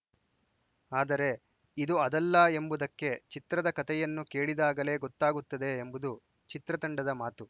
ಆದರೆ ಇದು ಅದಲ್ಲ ಎಂಬುದಕ್ಕೆ ಚಿತ್ರದ ಕತೆಯನ್ನು ಕೇಳಿದಾಗಲೇ ಗೊತ್ತಾಗುತ್ತದೆ ಎಂಬುದು ಚಿತ್ರತಂಡದ ಮಾತು